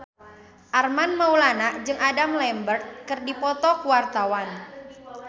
Armand Maulana jeung Adam Lambert keur dipoto ku wartawan